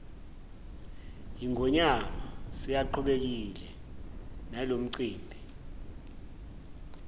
yingonyama siyaqhubekile nalomcimbi